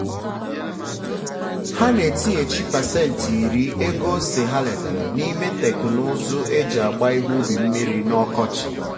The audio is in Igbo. ha na-etinyechi pasentị iri ego ose ha retara n'ime teknụzụ e ji agba ihe ubi mmiri n'ọkọchị